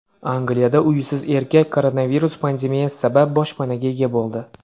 Angliyada uysiz erkak koronavirus pandemiyasi sabab boshpanaga ega bo‘ldi.